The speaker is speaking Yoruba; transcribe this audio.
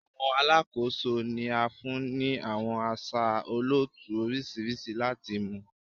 Awọn alakoso ni a fun ni awọn aṣa olootu oriṣiriṣi lati mu